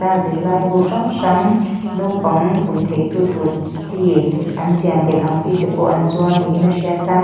aa zirlaibu hrang hrang naupang pui theitu tur chi an siam belh ang chi te pawh an zuar niin hriat a.